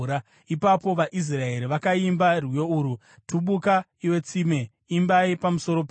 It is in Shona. Ipapo vaIsraeri vakaimba rwiyo urwu: “Tubuka, iwe tsime! Imbai pamusoro paro,